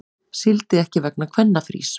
Sigldi ekki vegna kvennafrís